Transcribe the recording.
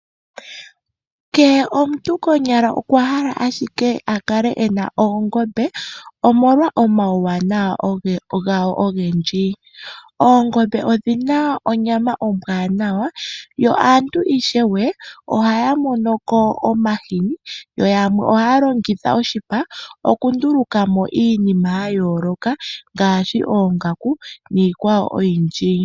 kehe omuntu konyala okwa hala ashike akale ena oongombe omolwa omawuwanawa gadho ogendji. Oongombe odhina onyama ombwaanawayo yo aantu ishewe ohaya monoko omahini yoyamwe ohaya longitha oshipa opo yandulukemo iinima yayooloka ngaashi oongaku, niikwayo oyindji